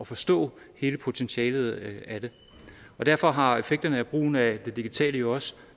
forstå hele potentialet af det og derfor har effekterne af brugen af det digitale jo også